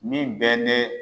Min bɛ ne